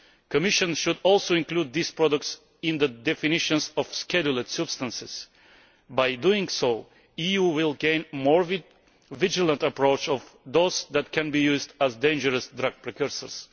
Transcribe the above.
The Commission should also include these products in the definitions of scheduled substances. By doing so, the EU will gain a more vigilant approach towards those that can be used as dangerous drug precursors.